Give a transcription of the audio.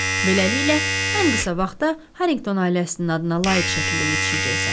Beləliklə, ən qısa vaxtda Harrington ailəsinin adına layiq şəkildə yetişəcəksən.